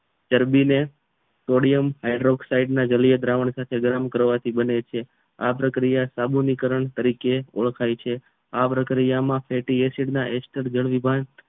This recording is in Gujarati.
ચરબીને સોડિયમના હાઇડ્રોક્સિડે જલય દ્રાવણ સાથે ગરમ કરવાથી બને છે આ પ્રક્રિયા સાબુનીકરણ તરીકે ઓળખાય છે આ પ્રક્રિયામાં ફેટી એસિડ એસ્ટર જળ વિભાણ